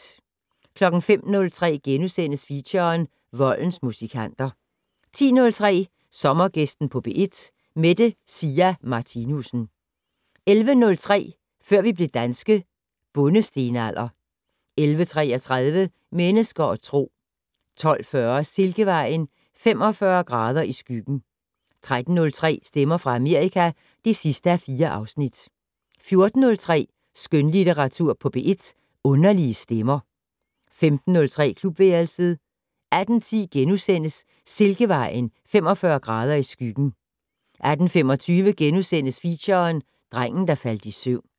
05:03: Feature: Voldens musikanter * 10:03: Sommergæsten på P1: Mette Sia Martinussen 11:03: Før vi blev danske - Bondestenalder 11:33: Mennesker og Tro 12:40: Silkevejen: 45 grader i skyggen 13:03: Stemmer fra Amerika (4:4) 14:03: Skønlitteratur på P1: Underlige stemmer 15:03: Klubværelset 18:10: Silkevejen: 45 grader i skyggen * 18:25: Feature: Drengen der faldt i søvn *